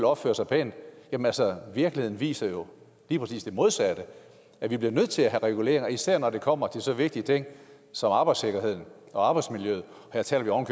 opfører sig pænt jamen altså virkeligheden viser jo lige præcis det modsatte at vi bliver nødt til at have reguleringer især når det kommer til så vigtige ting som arbejdssikkerheden og arbejdsmiljøet og her taler vi oven